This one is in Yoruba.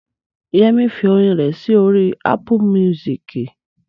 Yẹmí fi orin rẹ̀ sí orí Ápù míúsìkì